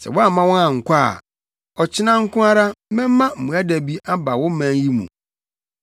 Sɛ woamma wɔn ankɔ a, ɔkyena nko ara mɛma mmoadabi aba wo man yi mu.